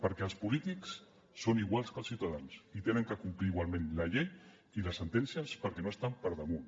perquè els polítics són iguals que els ciutadans i han de complir igualment la llei i les sentències perquè no estan per damunt